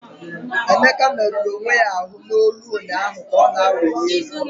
Emeka merụrụ onwe ya ahụ n'olu ụnyaahụ ka ọ na-awụli elu.